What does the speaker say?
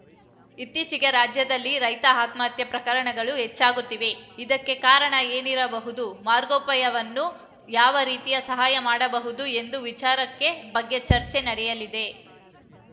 ಇತ್ತೀಚೆಗೆ ರಾಜ್ಯದಲ್ಲಿ ರೈತ ಆತ್ಮಹತ್ಯೆ ಪ್ರಕರಣಗಳು ಹೆಚ್ಚಾಗುತ್ತಿವೆ ಇದಕ್ಕೆ ಕಾರಣ ಏನಿರಬಹುದು ಮಾರ್ಗೋಪಾಯವೇನು ಯಾವ ರೀತಿಯ ಸಹಾಯ ಮಾಡಬಹುದು ಎಂಬ ವಿಚಾರದ ಬಗ್ಗೆ ಚರ್ಚೆ ನಡೆಯಲಿದೆ